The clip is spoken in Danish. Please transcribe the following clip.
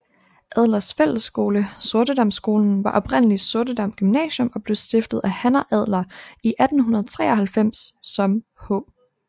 Adlers Fællesskole Sortedamskolen var oprindeligt Sortedam Gymnasium og blev stiftet af Hanna Adler i 1893 som H